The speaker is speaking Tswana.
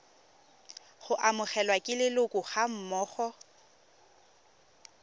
go amogelwa ke leloko gammogo